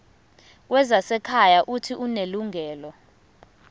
wezasekhaya uuthi unelungelo